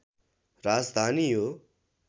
राजधानी हो